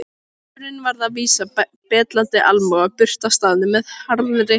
Marteinn varð að vísa betlandi almúga burt af staðnum með harðri hendi.